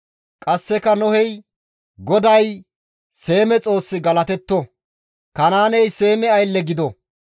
Qasseka Nohey, «GODAY, Seeme Xoossi galatetto! Kanaaney Seeme aylle gido!